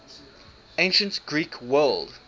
ancient greek world